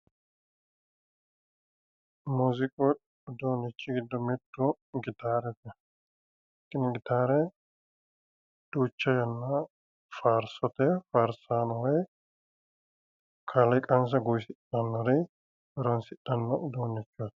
Muuziiqu uduunnichi giddo mittu gitaarete. Tini gitaare duucha yannara faarsote faarsaano kaaliiqansa guwisidhannori horonsidhanno uduunnichooti.